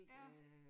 Ja